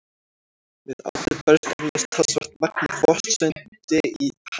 Við átið berst eflaust talsvert magn af botnseti í hann.